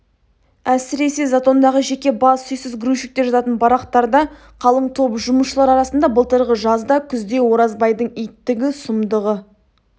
әсіресе затондағы жеке бас үйсіз грузчиктер жататын барақтарда қалың топ жұмысшылар арасында былтырғы жазда күзде оразбайдың иттігі сұмдығы